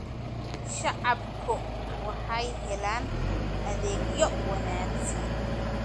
Shacabku waxay helaan adeegyo wanaagsan.